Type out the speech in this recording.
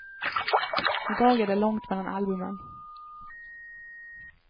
I dag är det långt mellan albumen.